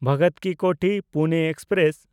ᱵᱷᱚᱜᱚᱛᱴ ᱠᱤ ᱠᱳᱛᱷᱤ–ᱯᱩᱱᱮ ᱮᱠᱥᱯᱨᱮᱥ